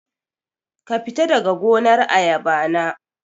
Kafita daga gonar ayaba na